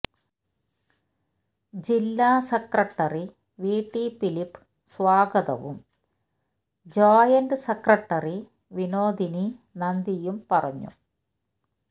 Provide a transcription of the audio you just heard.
ജില്ലാ secretary V T Philip സ്വാഗതവും joint secretary Vinodini നന്ദിയും പറഞ്ഞു